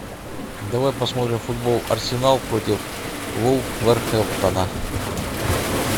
давай посмотрим футбол арсенал против вулверхэмптона